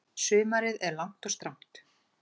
Sumarið er langt og strangt.